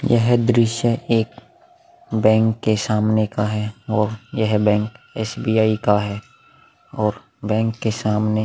यह दृश्य एक बैंक के सामने का है और यह बैंक एस.बी.आई. का है और बैंक के सामने--